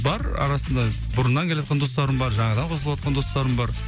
бар арасында бұрыннан келе жатқан достарым бар жаңадан қосылыватқан достарым бар